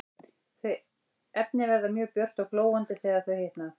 Þau efni verða mjög björt og glóandi þegar þau hitna.